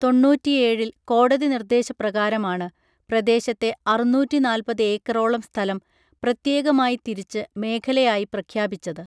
തൊണ്ണൂറ്റിയേഴിൽ കോടതി നിർദേശപ്രകാരമാണ് പ്രദേശത്തെ അറുന്നൂറ്റിനാൽപ്പത് ഏക്കറോളം സ്ഥലം പ്രത്യേകമായി തിരിച്ച് മേഖലയായി പ്രഖ്യാപിച്ചത്